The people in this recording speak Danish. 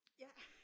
Ja